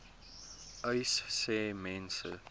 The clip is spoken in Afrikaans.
uys sê mense